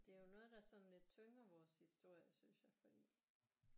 Det er jo noget der sådan lidt tynger vores historie synes jeg fordi